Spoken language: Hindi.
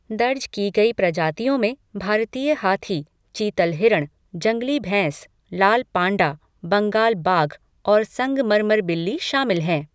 दर्ज की गई प्रजातियों में भारतीय हाथी, चीतल हिरण, जंगली भैंस, लाल पांडा, बंगाल बाघ और संगमरमर बिल्ली शामिल हैं।